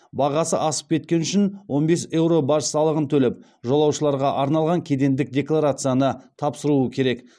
бағасы асып кеткені үшін он бес еуро баж салығын төлеп жолаушыларға арналған кедендік декларацияны тапсыруы керек